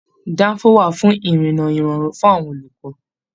Danfo wà fún irinna irọrun fún àwọn olùkọ.